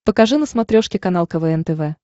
покажи на смотрешке канал квн тв